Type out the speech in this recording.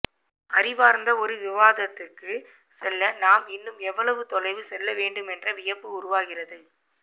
அறிவார்ந்த ஒரு விவாதத்துக்குச் செல்ல நாம் இன்னும் எவ்வளவுதொலைவு செல்லவேண்டுமென்ற வியப்பு உருவாகிறது